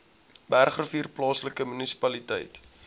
bergrivier plaaslike munisipaliteit